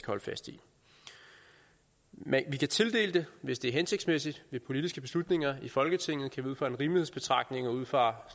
holde fast i men vi kan tildele det hvis det er hensigtsmæssigt ved politiske beslutninger i folketinget ud fra en rimelighedsbetragtning og ud fra